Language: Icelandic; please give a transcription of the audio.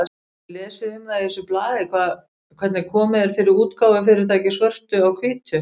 Hefurðu lesið um það í þessu blaði hvernig komið er fyrir útgáfufyrirtækinu Svörtu á hvítu?